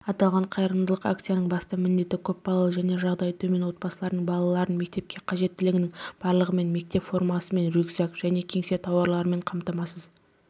аталған қайырымдылық акциясының басты міндеті көпбалалы және жағдайы төмен отбасылардың балаларын мектепке қажеттінің барлығымен мектеп формасымен рюкзак және кеңсе тауарларымен қамтамасыз